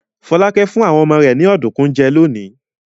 Fọlákẹ́ fún àwọn ọmọ rẹ̀ ní ọ̀dùnkún jẹ lónìí.